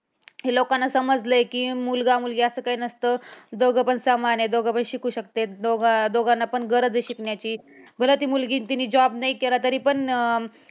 हे लोकांना समजलंय कि मुलगा, मुलगी असं काही नसत दोघंपण समान आहे. दोघभी शिकू शकत्यात दोघांना पण गरज आहे शिक्ण्याची बरं ती मुलगी तिनी job नाही केला, तरी पण